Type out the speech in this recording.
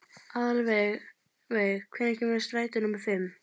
Aðalveig, hvenær kemur strætó númer fimm?